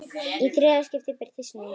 Í þriðja skiptið birtist núll.